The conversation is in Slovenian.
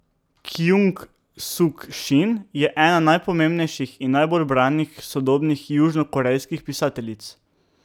Kjung Suk Šin je ena najpomembnejših in najbolj branih sodobnih južnokorejskih pisateljic.